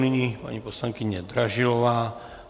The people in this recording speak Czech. Nyní paní poslankyně Dražilová.